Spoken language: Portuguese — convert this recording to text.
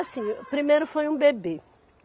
Assim, o primeiro foi um bebê.